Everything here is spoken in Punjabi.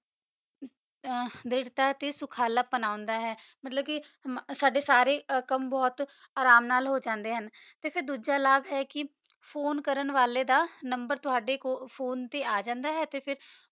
ਦਾ ਦਾ ਟੀ ਕਾ ਸੁ ਖਾਲਾ ਪੋਨਾਦਾ ਮਤਲਬ ਕਾ ਸਦਾ ਸਾਰਾ ਕਾਮ ਬੋਹਤ ਆਰਾਮ ਨਾਲ ਹਨ ਤਾ ਫਿਰ ਦੋਜਾ ਲਕ ਆ ਫੋਨੇ ਕਰ ਅਲ ਦਾ ਨੰਬਰ ਟੋਹੜਾ ਫੋਨੇ ਚ ਆ ਜਾਂਦਾ ਆ